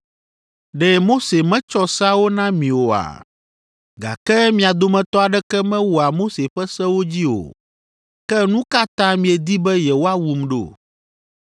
Ɖe Mose metsɔ seawo na mi oa? Gake mia dometɔ aɖeke mewɔa Mose ƒe sewo dzi o. Ke nu ka ta miedi be yewoawum ɖo?”